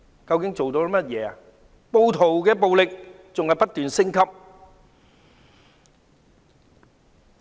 暴徒的暴力仍然不斷升級。